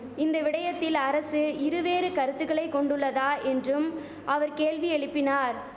இந்த விடயத்தில் அரசு இரு வேறு கருத்துக்களை கொண்டுள்ளதா என்றும் அவர் கேள்வி எழிப்பினார்